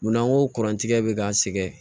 Munna n ko kurantigɛ bɛ k'an sɛgɛn